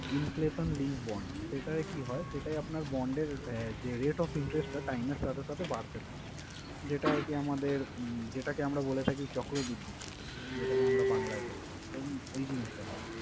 Inflation link bond সেটায় কি হয়? সেটায় আপনার bond এর যে rate of interest টা time এর সাথে সাথে বাড়তে থাকে। যেটা আরকি আমাদের উম যেটাকে আমরা বলে থাকি চক্রবৃদ্ধি সুদ যেটাকে আমরা বাংলায় বলে থাকি, তো উম ওই জিনিসটা হয়।